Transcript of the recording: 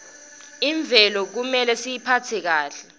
imvelo kumele siyiphatse kahle